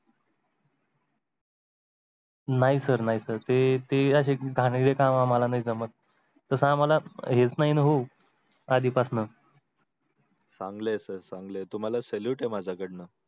नाही sir, नाही sir ते अशे घाणेरडे काम आम्हाला नाही जमत. तसं आम्हाला हेच नाही ना हो आधीपासुन. चांगलय sir चांगलय तुम्हाला salute आहे माझ्याकडून.